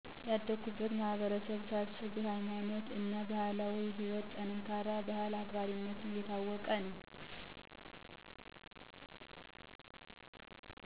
ያደጉበትን ማህበረሰብ ሳስብ በ ሀይማኖቱ እና ማህበራዊ ህይወትጠንካራ ባህሉን አክባሪነቱን የታወቀ ነዉ።